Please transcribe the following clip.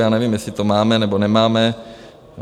Já nevím, jestli to máme, nebo nemáme.